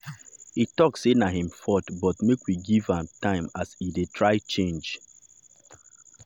e talk say na him fault but beg make we give am time as e dey try change.